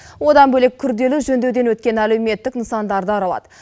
одан бөлек күрделі жөндеуден өткен әлеуметтік нысандарды аралады